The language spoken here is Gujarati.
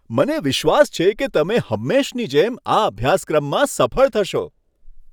મને વિશ્વાસ છે કે તમે હંમેશની જેમ આ અભ્યાસક્રમમાં સફળ થશો.